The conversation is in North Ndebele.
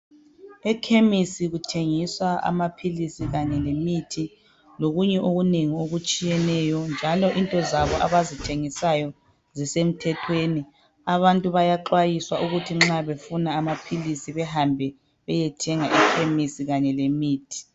Ekhemisi kuthengiswa amaphilisi kanye lemithi lokunye okunengi okutshiyeneyo njalo into zabo abazithengisayo zisemthethweni. Abantu bayaxwayiswa ukuthi nxa befuna amaphilisi behambe beyethenga ekhemisi kanye lemithi.